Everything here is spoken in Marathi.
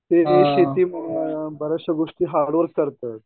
ते शेती बरेचशे गोष्टी हार्ड वर्क करतात.